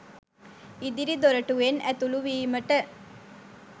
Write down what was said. ඉදිරි දොරටුවෙන් ඇතුළු වීමට